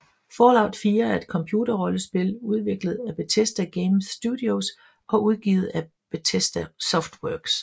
Fallout 4 er et computerrollespil udviklet af Bethesda Game Studios og udgivet af Bethesda Softworks